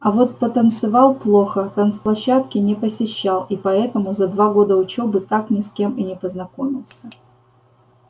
а вот танцевал плохо танцплощадки не посещал и поэтому за два года учёбы так ни с кем и не познакомился